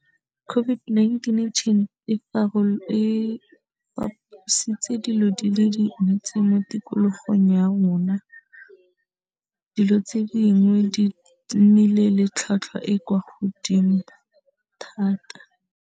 COVID-19 e fapositse dilo di le dintsi mo tikologong ya rona, dilo tse dingwe di nnile le tlhwatlhwa e kwa godimo thata.